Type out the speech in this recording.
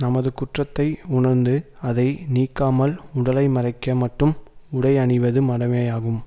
நமது குற்றத்தை உணர்ந்து அதை நீக்காமல் உடலை மறைக்க மட்டும் உடை அணிவது மடமையாகும்